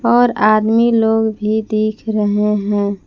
और आदमी लोग भी दिख रहे हैं।